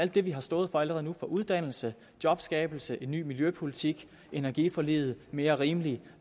det vi har stået for allerede nu uddannelse jobskabelse en ny miljøpolitik energiforliget en mere rimelig